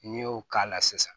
N'i y'o k'a la sisan